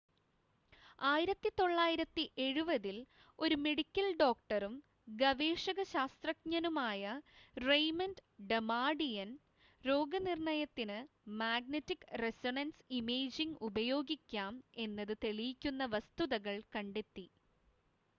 1970-ൽ ഒരു മെഡിക്കൽ ഡോക്ടറും ഗവേഷക ശാസ്ത്രജ്ഞനുമായ റെയ്മണ്ട് ഡമാടിയൻ രോഗനിർണയത്തിന് മാഗ്നെറ്റിക് റെസൊണൻസ് ഇമേജിങ്ങ് ഉപയോഗിക്കാം എന്നത് തെളിയിക്കുന്ന വസ്തുതകൾ കണ്ടെത്തി